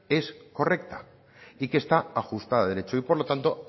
es correcta y que está ajustada a derecho y por lo tanto